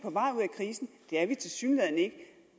er er vi tilsyneladende ikke